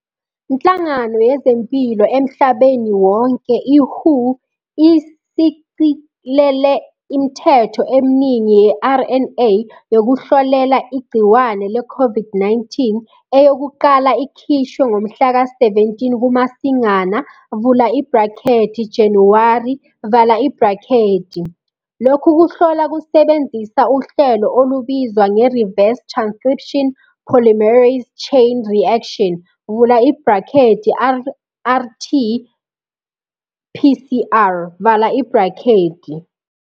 nhlangano yezempilo emlabeni wonke i-WHO ishicilele imthetho emningi ye-RNA yokuhlolela igciwane le-COVID-19, eyokuqala ikhishwe ngomhlaka-17 KuMasingana, Januwari. Lokhu kuhlola kusebenzisa uhlelo olubizwa nge-reverse transcription polymerase chain reaction, rRT-PCR.